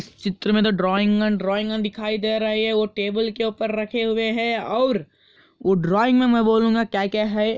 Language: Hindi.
इस चित्र में ड्राइंग एंड ड्राइंग दिखाई दे रही है वो टेबुल के ऊपर रखे हुए है और वो ड्राइंग मैं बोलूंगा क्या-क्या है।